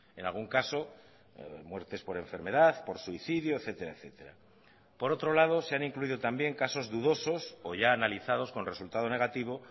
en algún caso muertes por enfermedad por suicidio etcétera por otro lado se han incluido también casos dudosos o ya analizados con resultado negativo